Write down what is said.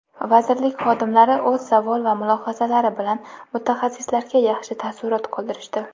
vazirlik xodimlari o‘z savol va mulohazalari bilan mutaxassislarga yaxshi taassurot qoldirishdi.